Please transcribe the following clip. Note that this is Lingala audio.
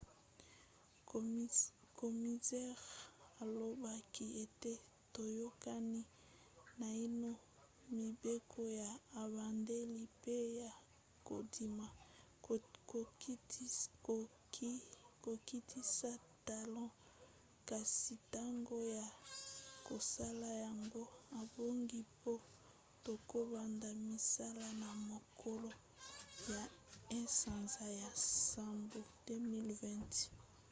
komisere alobaki ete toyokani naino mibeko ya ebandeli pe ya kondima kokitisa talo kasi ntango ya kosala yango ebongi mpo tokobanda misala na mokolo ya 1 sanza ya nsambo 2020